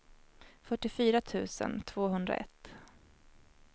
fyrtiofyra tusen tvåhundraett